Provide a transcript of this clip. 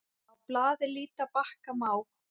Á blaði líta bakka má.